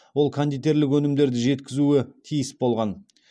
ол кондитерлік өнімдерді жеткізуі тиіс болған